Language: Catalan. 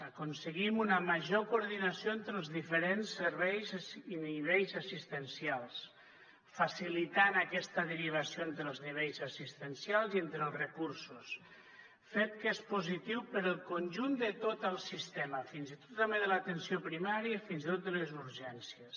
aconseguim una major coordinació entre els diferents serveis i nivells assistencials facilitant aquesta derivació entre els nivells assistencials i entre els recursos fet que és positiu per al conjunt de tot el sistema fins i tot també de l’atenció primària i fins i tot de les urgències